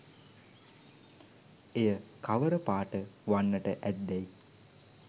එය කවර පාට වන්නට ඇත්දැයි